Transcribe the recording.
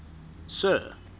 sir